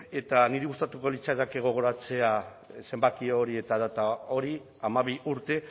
eta niri gustatuko litzaidake gogoratzea zenbaki hori eta data hori hamabi urte